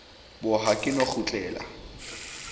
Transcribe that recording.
bo ha ke no kgutlela